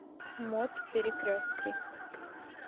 мот перекрестки